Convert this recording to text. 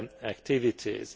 activities.